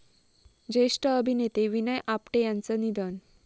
ज्येष्ठ अभिनेते विनय आपटे यांचं निधन